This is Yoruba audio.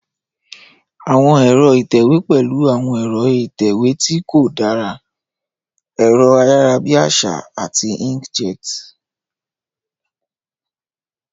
Àwọn ẹ̀rọ ìtẹ̀wé pẹ̀lú àwọn ẹ̀rọ ìtẹ̀wé tí kò dára, ẹ̀rọ ayárabíàṣá, àti inkjet.